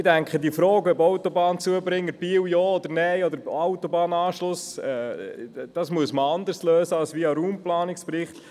Ich denke, die Frage, ob Autobahnzubringer Biel Ja oder Nein, müsse anders gelöst werden als über den Raumplanungsbericht.